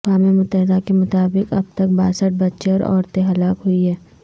اقوام متحدہ کے مطابق اب تک باسٹھ بچے اور عورتیں ہلاک ہوئی ہیں